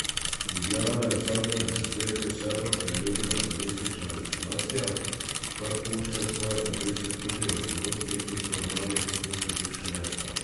Ljubljana je v zadnjem desetletju vse bolj priljubljena turistična destinacija, kar pušča svoje obrise tudi v ponudbi in programih v središču mesta.